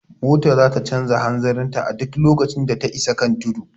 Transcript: Mota zata canja hanzarin ta a duk lokacin da ta isa kan tudu